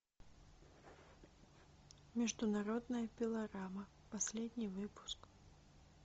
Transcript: международная пилорама последний выпуск